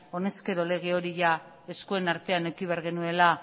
honezkero lege hori eskuen artean eduki behar genuela